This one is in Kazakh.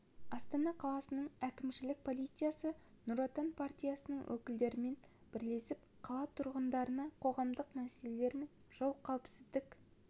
астана қаласының әкімшілік полициясы нұр отан партиясының өкілдерімен бірлесіп қала тұрғындарына қоғамдық мәселелер мен жол қауіпсіздік